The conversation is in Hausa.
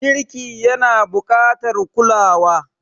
Girki yana buƙatar kulawa.